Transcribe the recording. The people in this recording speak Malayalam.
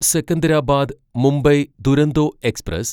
സെക്കന്ദരാബാദ് മുംബൈ ദുരന്തോ എക്സ്പ്രസ്